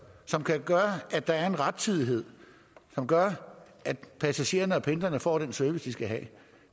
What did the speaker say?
som kan gøre at der er en rettidighed som gør at passagererne herunder pendlerne får den service de skal have